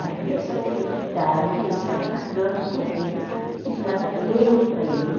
Na terça-feira de tarde, eu estava na cama com ele, estava lendo para ele.